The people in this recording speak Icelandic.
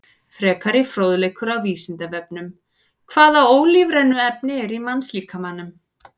Frekari fróðleikur á Vísindavefnum: Hvaða ólífrænu efni eru í mannslíkamanum?